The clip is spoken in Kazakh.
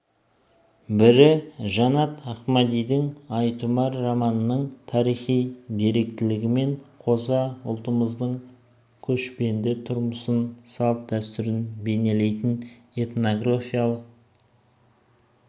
бірі жанат ахмадидың ай тұмар романының тарихи деректілігімен қоса ұлтымыздың көшпенді тұрмысын салт-дәстүрін бейнелейтін этнографиялық